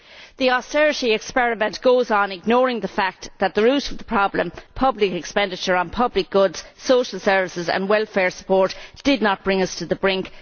The austerity experiment goes on, ignoring the fact that the root of the problem public expenditure on public goods, social services and welfare support did not bring us to the brink.